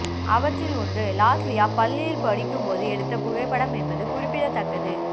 அவற்றில் ஒன்று லாஸ்லியா பள்ளியில் படிக்கும்போது எடுத்த புகைப்படம் என்பது குறிப்பிடத்தக்கது